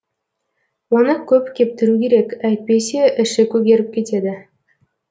оны көп кептіру керек әйтпесе іші көгеріп кетеді